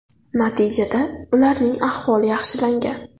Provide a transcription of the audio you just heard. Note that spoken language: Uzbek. Natijada ularning ahvoli yaxshilangan.